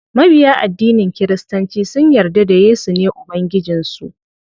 Mabiya addinin kiristanci sun yarda da yesu ne ubangijin su.